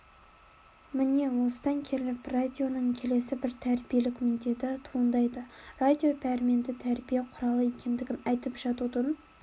міне осыдан келіп радионың келесі бір тәрбиелік міндеті туындайды радио пәрменді тәрбие құралы екендігін айтып жатудың